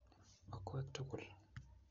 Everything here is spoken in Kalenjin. okwek tugul